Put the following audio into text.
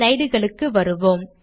slide களுக்கு வருவோம்